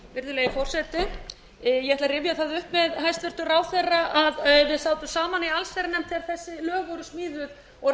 virðulegi forseti ég ætla að rifja það upp með hæstvirtum ráðherra að við sátum saman í allsherjarnefnd þegar þessi lög voru smíðuð og